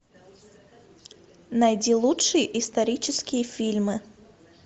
найди лучшие исторические фильмы